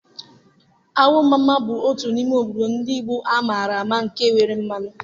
Awo-mamma bụ otu n'ime obodo ndị Igbo amara ama nke nwere mmanụ.